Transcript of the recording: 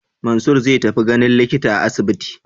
Mansur zai tafi ganin likita a asibiti.